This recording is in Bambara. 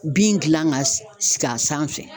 Bin gilan ka s sigi a sanfɛ